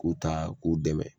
K'u ta k'u dɛmɛ